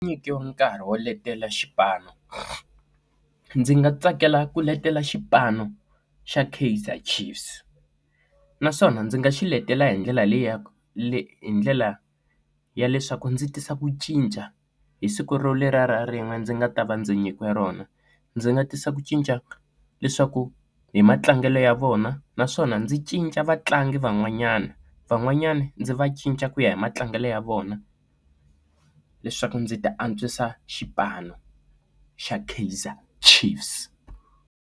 Nyikiwa nkarhi wo letela xipano ndzi nga tsakela ku letela xipano xa Kaizer Chiefs naswona ndzi nga xiletela hi ndlela leyi ya le hi ndlela ya leswaku ndzi tisa ku cinca hi siku ro lera ra rin'we ndzi nga ta va ndzi nyikiwe rona ndzi nga tisa ku cinca leswaku hi matlangelo ya vona naswona ndzi cinca va ntlangu van'wanyana van'wanyana ndzi va cinca ku ya hi matlangelo ya vona leswaku ndzi ti antswisa xipano xa Kaizer Chiefs.